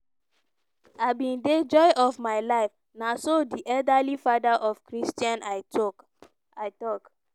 im be di joy of my life" na so di elderly father of christian i tok i talk.